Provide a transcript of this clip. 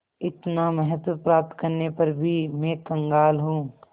इतना महत्व प्राप्त करने पर भी मैं कंगाल हूँ